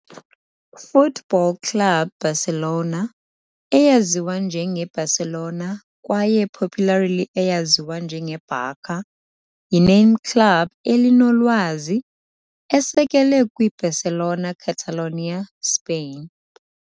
Futbol Club Barcelona, eyaziwa njenge Barcelona kwaye popularly eyaziwa njenge Barça, yi-name club elinolwazi, esekelwe kwiBarcelona, Catalonia, Spain.